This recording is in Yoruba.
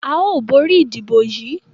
A óò borí ìdìbò yìí.